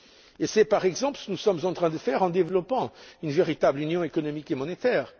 Et c'est, par exemple, ce que nous sommes en train de faire en développant une véritable union économique et monétaire.